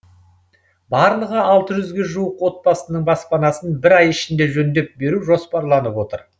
барлығы алты жүзге жуық отбасының баспанасын бір ай ішінде жөндеп беру жоспарланып отыр